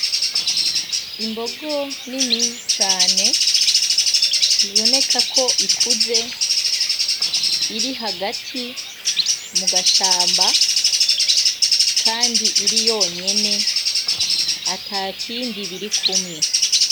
Imbogo nini cane iboneka ko ikuze iri hagati mu gashamba, kandi iri yonyene atakindi biri kumwe.